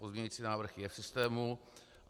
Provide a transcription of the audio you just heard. Pozměňovací návrh je v systému.